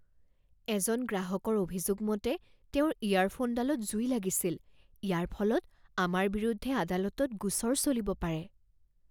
এজন গ্ৰাহকৰ অভিযোগ মতে তেওঁৰ ইয়াৰফোনডালত জুই লাগিছিল। ইয়াৰ ফলত আমাৰ বিৰুদ্ধে আদালতত গোচৰ চলিব পাৰে।